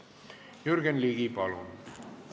Jürgen Ligi, palun!